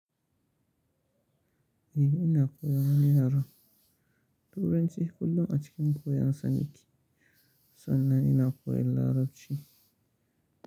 Eh ina koyan wani yaren, Turanci kullum a cikin koyon sa nike sannan ina koyan Larabci.